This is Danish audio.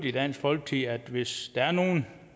i dansk folkeparti at vi hvis der er nogen